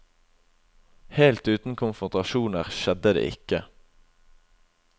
Helt uten konfrontasjoner skjedde det ikke.